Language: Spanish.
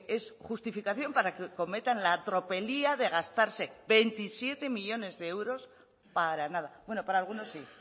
es justificación para que cometan la tropelía de gastarse veintisiete millónes de euros para nada bueno para algunos sí